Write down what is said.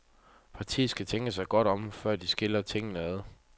Partiet skal tænke sig godt om, før de skiller tingene ad.